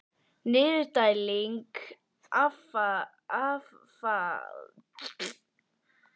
Niðurdæling affallsvatns kemur hér einnig að gagni.